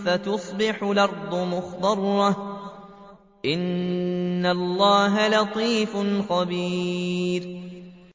فَتُصْبِحُ الْأَرْضُ مُخْضَرَّةً ۗ إِنَّ اللَّهَ لَطِيفٌ خَبِيرٌ